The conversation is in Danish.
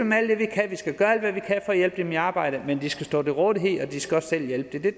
dem i arbejde men de skal stå til rådighed og de skal også selv hjælpe